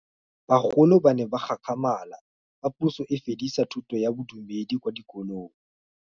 Bagolo ba ne ba gakgamala fa Pusô e fedisa thutô ya Bodumedi kwa dikolong.